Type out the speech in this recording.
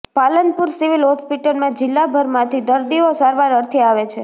Palanpur civil હોસ્પિટલમાં જિલ્લાભરમાંથી દર્દીઓ સારવાર અર્થે આવે છે